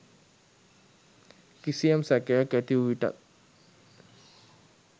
කිසියම් සැකයක් ඇතිවූ විටත්